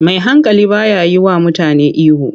Mai hankali ba ya yiwa mutane ihu.